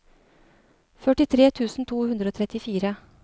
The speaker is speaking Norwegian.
førtitre tusen to hundre og trettifire